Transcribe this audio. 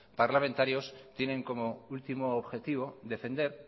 parlamentarios tienen como último objetivo defender